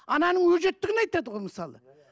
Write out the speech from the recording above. ананың өжеттігін айтады ғой мысалы